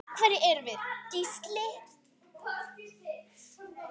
Hverjir erum við Gísli?